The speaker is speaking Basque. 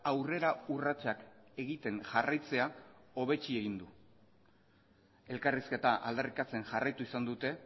aurrera urratsak egiten jarraitzea hobetsi egin du elkarrizketa aldarrikatzen jarraitu izan dute